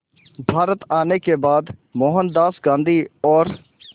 भारत आने के बाद मोहनदास गांधी और